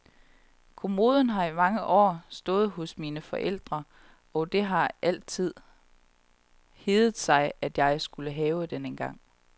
Kommoden har i mange år stået hos mine forældre og det har altid heddet sig at jeg skulle have den engang.